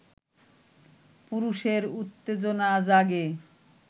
পুরুষের উত্তেজনা জাগে